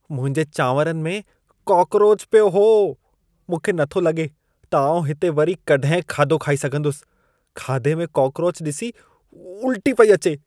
मुंहिंजे चांवरनि में कॉकरोचु पियो हो। मूंखे नथो लॻे त आउं हिते वरी कॾहिं खाधो खाई सघंदुसि। खाधे में कॉकरोचु ॾिसी उल्टी पई अचे।